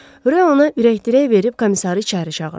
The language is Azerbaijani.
Röv ona ürəkdirək verib komissarı içəri çağırdı.